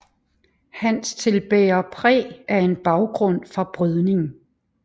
Hans til bærer præg af en baggrund fra brydning